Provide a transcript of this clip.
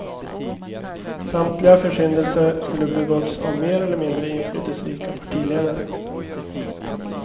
Samtliga försyndelser skulle begåtts av mer eller mindre inflytelserika partiledare.